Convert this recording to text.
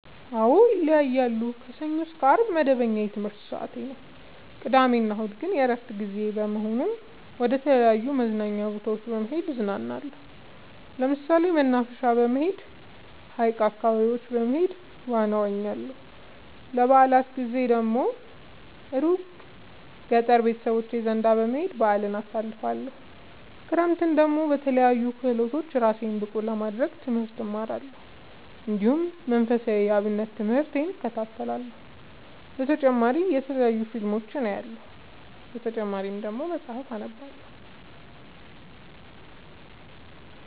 አዎ ይለያያለሉ። ከሰኞ እስከ አርብ መደበኛ የትምህርት ሰዓቴ ነው። ቅዳሜ እና እሁድ ግን የእረፍት ጊዜ በመሆኑ መደተለያዩ መዝናኛ ቦታዎች በመሄድ እዝናናለሁ። ለምሳሌ መናፈሻ በመሄድ። ሀይቅ አካባቢ በመሄድ ዋና እዋኛለሁ። የበአላት ጊዜ ደግሞ እሩቅ ገጠር ቤተሰቦቼ ዘንዳ በመሄድ በአልን አሳልፍለሁ። ክረምትን ደግሞ በለያዩ ክህሎቶች እራሴን ብቀሐ ለማድረግ ትምህርት እማራለሁ። እንዲሁ መንፈሳዊ የአብነት ትምህርቴን እከታተላለሁ። በተጨማሪ የተለያዩ ፊልሞችን አያለሁ። በተጨማሪም መፀሀፍትን አነባለሁ።